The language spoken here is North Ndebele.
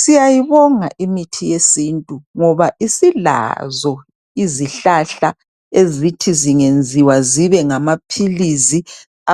Siyayibonga imithi yesintu ngoba isilazo izihlahla ezithi zingenziwa zibe ngamaphilizi